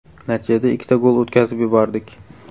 Natijada ikkita gol o‘tkazib yubordik.